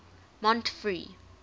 montfree